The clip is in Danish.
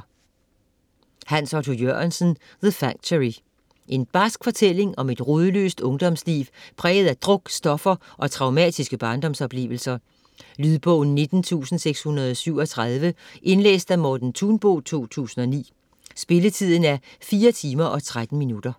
Jørgensen, Hans Otto: The factory En barsk fortælling om et rodløst ungdomsliv præget af druk, stoffer og traumatiske barndomsoplevelser. Lydbog 19637 Indlæst af Morten Thunbo, 2009. Spilletid: 4 timer, 13 minutter.